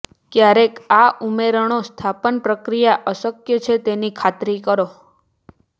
ક્યારેક આ ઉમેરણો સ્થાપન પ્રક્રિયા અશક્ય છે તેની ખાતરી કરો